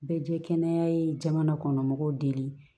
Bɛɛ jɛ kɛnɛya ye jamana kɔnɔmɔgɔw deli